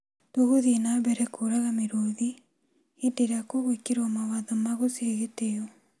Tũgũthii na mbere kuraga mĩrũthi hindĩ ĩrĩa kugwĩkĩriwa mawatho ma gũcihee gĩtio